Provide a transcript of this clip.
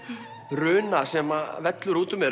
runa sem vellur út úr mér